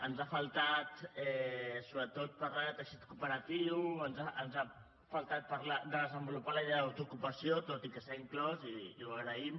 ens hi ha faltat sobretot parlar de teixit cooperatiu ens hi ha faltat parlar de desenvolupar la idea d’autoocupació tot i que s’hi ha inclòs i ho agraïm